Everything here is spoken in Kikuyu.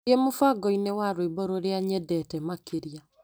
Thiĩ mũbango-inĩ wa rwĩmbo rũrĩa nyendete makĩria.